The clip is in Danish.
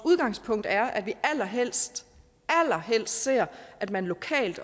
udgangspunkt er at vi allerhelst allerhelst ser at man lokalt